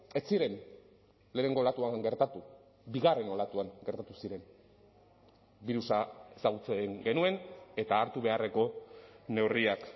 ez ziren lehenengo olatuan gertatu bigarren olatuan gertatu ziren birusa ezagutzen genuen eta hartu beharreko neurriak